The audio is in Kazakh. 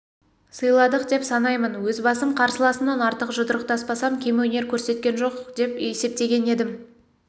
сыйладық деп санаймын өз басым қарсыласымнан артық жұдырықтаспасам кем өнер көрсеткем жоқ деп есепеген едім